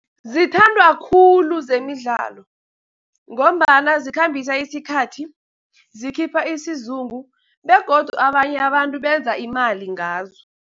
Zithandwa khulu zemidlalo, ngombana zikhambisa isikhathi, zikhipha isizungu, begodu abanye abantu benza imali ngazo.